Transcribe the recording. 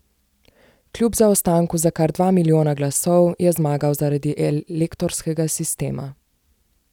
Kljub zaostanku za kar dva milijona glasov je zmagal zaradi elektorskega sistema.